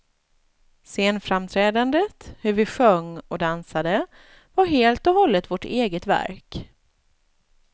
Scenframträdandet, hur vi sjöng och dansade, var helt och hållet vårt eget verk.